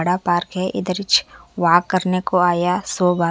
बड़ा पार्क हे हीच वाक करने को आया सो बार--